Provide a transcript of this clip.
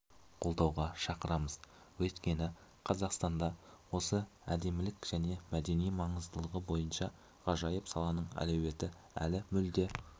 қолдауға шақырамыз өйткені қазақстанда осы әдемілік және мәдени маңыздылығы бойынша ғажайып саланың әлеуеті әлі мүлде